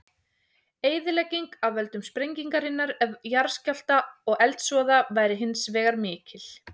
Eyðilegging af völdum sprengingarinnar, jarðskjálfta og eldsvoða væri hins vegar mikil.